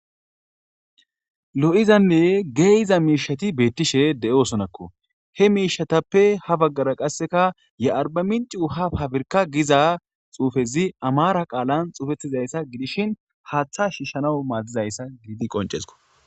lo7izanne geeyiza miishati beettishe de7osonakko he miishatappe ha baggara qasseka ye arba minci uha hafirka giza xuufezi amara qaalan xuufettizayssa gidishin haaththa shiishanau maaddizayssa giiidi qoncesko